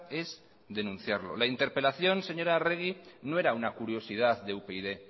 es denunciarlo la interpelación señora arregi no era una curiosidad de upyd